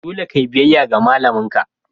Dole ka yi biyayya ga malamin ka!